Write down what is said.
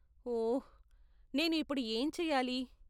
ఓహ్! నేను ఇప్పుడు ఏంచెయ్యాలి?